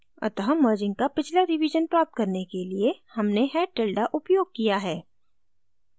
अतः merging का पिछला रिवीजन प्राप्त करने के लिए हमने head tilde उपयोग किया है